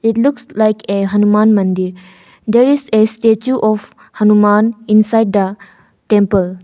It looks like a hanuman mandir there is a statue of hanuman inside the temple.